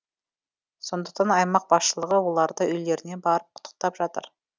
сондықтан аймақ басшылығы оларды үйлеріне барып құттықтап жатыр